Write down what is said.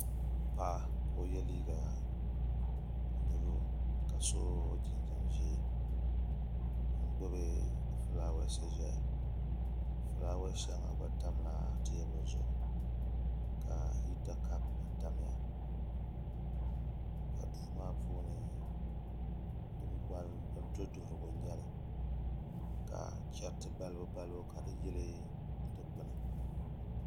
Paɣa k o yɛ liiga buluu ka so jinjɛm ʒiɛ n gbubi fulaawaasi ʒɛya fulaawa shɛŋa gba tamla teebuli zuɣu ka hita kaap gba tamya ka duu maa puuni duduɣurigu n nyɛli ka chɛriti balibu balibu ka di yili dikpuna